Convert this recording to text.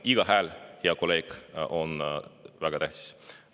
Iga hääl, hea kolleeg, on väga tähtis.